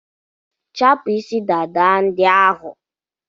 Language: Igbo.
Chapụ isi dada ndị ahụ!